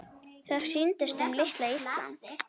Það snýst um litla Ísland.